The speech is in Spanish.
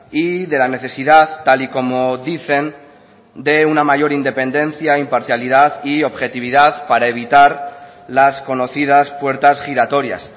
y de la necesidad tal y como dicen de una mayor independencia imparcialidad y objetividad para evitar las conocidas puertas giratorias